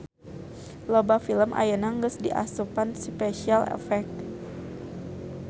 Loba film ayeuna geus diasupan Special Effect.